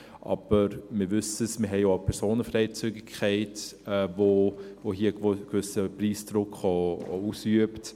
Aber wir wissen es, wir haben auch eine Personenfreizügigkeit, die hier auch einen gewissen Preisdruck ausübt.